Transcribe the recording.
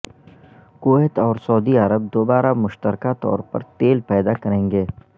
Kuwait اور Saudi Arab دوبارہ مشترکہ طور پر تیل پیدا کریں گے